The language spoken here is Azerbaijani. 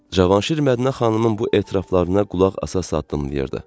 Cavanşir Mədinə xanımın bu etiraflarına qulaq asa-asa addımlayırdı.